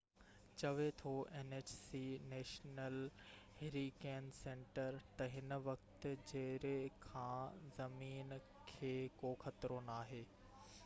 national Hurricane Center nhc چوي ٿو تہ هن وقت جيري کان زمين کي ڪو خطرو ناهي